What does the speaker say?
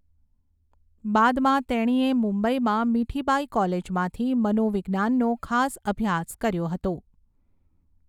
બાદમાં તેણીએ મુંબઇમાં મિઠીબાઈ કોલેજમાંથી મનોવિજ્ઞાનનો ખાસ અભ્યાસ કર્યો હતો.